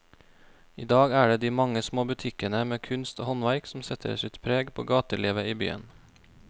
I dag er det de mange små butikkene med kunst og håndverk som setter sitt preg på gatelivet i byen.